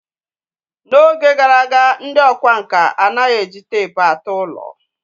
N'oge gara aga, ndị ọkwá nkà anaghị eji teepu atụ ụlọ.